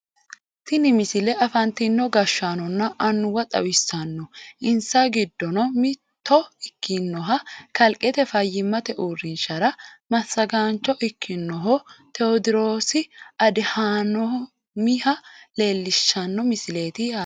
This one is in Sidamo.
tini misile afantino gashshaanonna annuwa xawissanno insa giddono mitto ikkinoha kalqete fayyimate uurrinshara massagaancho ikkinoho tewoodiroosi adihanoomiha leellishshanno misileeti yaate